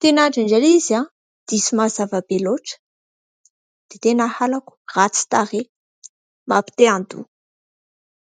tena indraindray ilay izy diso mazava be loatra dia tena halako. Ratsy tarehy, mampite handoa.